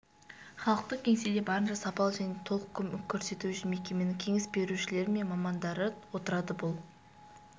халықтық кеңседе барынша сапалы және толық көмек көрсету үшін мекеменің кеңес берушілері мен мамандары отырады бұл